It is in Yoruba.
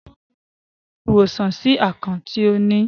Paul yíò rí ìwòsàn sí akàn tí o ní.